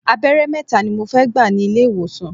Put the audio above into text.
Abẹ́rẹ́ mẹ́ta ni mo fẹ́ gbà ní ilé ìwòsàn.